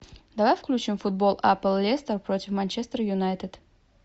давай включим футбол апл лестер против манчестер юнайтед